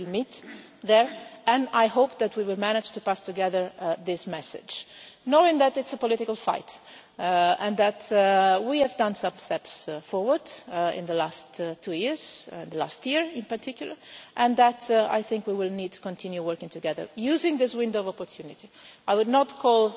We will meet there and I hope that we will manage to pass on together this message, knowing that it is a political fight, and that we have taken some steps forward in the last two years, in the last year in particular, and that I think we will need to continue working together using this window of opportunity. I would not call